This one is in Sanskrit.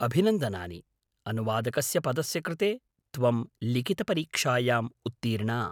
अभिनन्दनानि! अनुवादकस्य पदस्य कृते त्वं लिखितपरीक्षायाम् उत्तीर्णा।